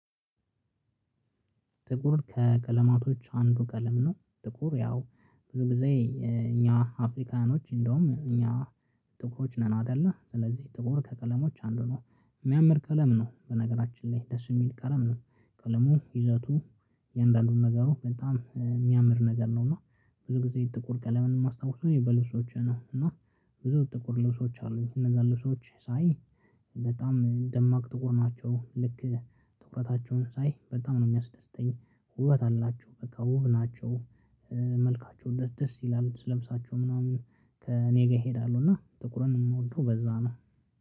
ጥቁር ከቀለማቶች አንዱ ቀለም ነው። ጥቁር ያው ብዙ ጊዜ እኛ አፍሪካኖች እንደውም እኛ ጥቁሮች ነን። አይደለ ስለዚህ ጥቁር ከቀለሞች አንዱ ነው ሚያምር ቀለም ነው። በነገራችን ላይ ደስ የሚል ቀለም ነው። ቀለሙ ይዘቱ እያንዳንዱን ነገሩ በጣም የሚያምር ነገር ነው። እና ብዙ ጊዜ ጥቁር ቀለምን ማስታወስ ነው በልብሶቼ ነው። እና ብዙ ጥቁር ልብሶች አሉኝ እነዛ ልብሶች ሳይ በጣም ደማቅ ጥቁር ናቸው። ልክ ትኩረታቸውን ሳይ በጣም ነው የሚያስደስተኝ። ውበት አላቸው በቃ ውብ ናቸው። መልካቸው ደስ ይላሉ ልብሳቸው ምናምን ከእኔ ጋር እሄዳለሁ እና ጥቁርን የምወደው በዛ ነው።